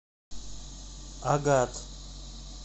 агат